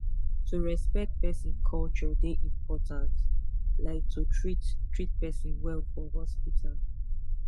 to respect person culture dey important like to treat treat person well for hospital